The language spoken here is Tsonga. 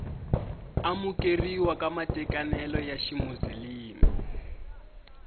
amukeriwa ka matekanelo ya ximuzilimi